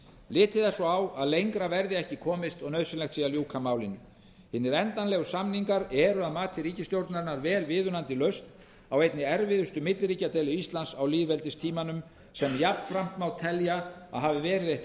litið er svo á að lengra verði ekki komist og nauðsynlegt sé að ljúka málinu hinir endanlegu samningar eru að mati ríkisstjórnarinnar vel viðunandi lausn á einni erfiðustu milliríkjadeilu íslands á lýðveldistímanum sem jafnframt má telja að hafi verið eitt